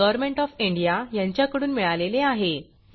government of India यांच्याकडून मिळालेले आहे